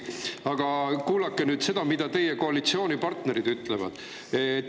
Aga kuulake nüüd seda, mida teie koalitsioonipartnerid ütlevad.